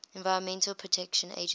environmental protection agency